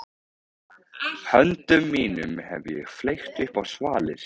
Höndum mínum hef ég fleygt upp á svalir.